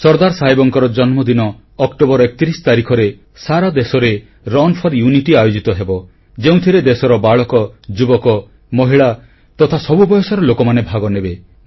ସର୍ଦ୍ଦାର ସାହେବଙ୍କର ଜନ୍ମଦିନ ଅକ୍ଟୋବର 31 ତାରିଖରେ ସାରା ଦେଶରେ ରନ୍ ଫୋର ୟୁନିଟି ଆୟୋଜିତ ହେବ ଯେଉଁଥିରେ ଦେଶର ବାଳକ ଯୁବକ ମହିଳା ତଥା ସବୁ ବୟସର ଲୋକମାନେ ଭାଗନେବେ